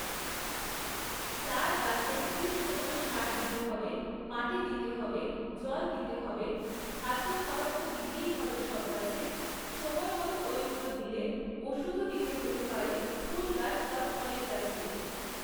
তার গাছে ঠিক সময়ে সার দিতে হবে, মাটি দিতে হবে, জল দিতে হবে, খাদ্য খাবার তো দিতেই হবে সব গাছে, সময় মতো ঐগুলো দিলে ওষুধও দিতে হতে পারে ফুল গাছ বা ফলের গাছে।